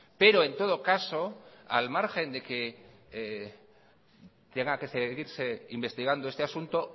pero en todo caso al margen de que tenga que seguirse investigando este asunto